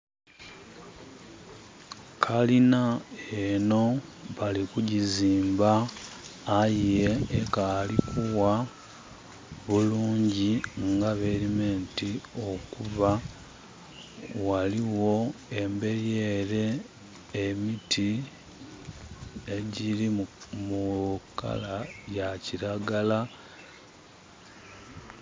Kalina enho bali kugiziimba, aye ekaali kuwa bulungi nga bweli meant okuba. Ghaligho embeli ele emiti, egyiri mu kala ya kiragala.